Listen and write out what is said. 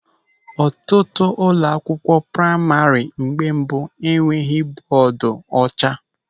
Ọtụtụ ụlọ akwụkwọ praima na mgbe mbụ enweghị bọọdu ọcha.